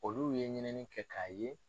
Olu ye ɲinini kɛ k'a ye